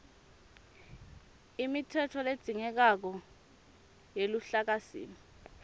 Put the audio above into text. imitsetfo ledzingekako yeluhlakasimo